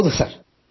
ಹೌದು ಸರ್